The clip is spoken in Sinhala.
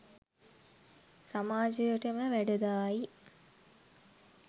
සමාජයටම වැඩදායි,